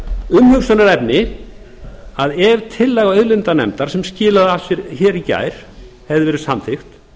umhugsunarefni ef tillaga auðlindanefndar sem skilaði af sér hér í gær hefði verið samþykkt